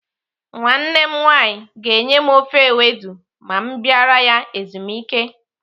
Nwanne m nwaanyị ga-enye m ofe ewedu ma m bịara ya ezumike.